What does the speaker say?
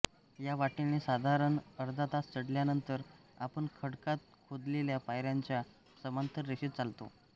या वाटेने साधारण अर्धातास चढल्यानंतर आपण खडकात खोदलेल्या पायऱ्यांच्या समांतर रेषेत चालतो